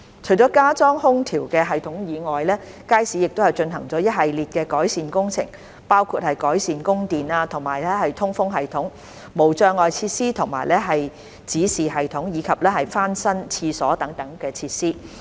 除了加裝空調系統外，街市亦進行一系列改善工程，包括改善供電和通風系統、無障礙設施和指示系統，以及翻新廁所等設施。